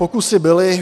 Pokusy byly.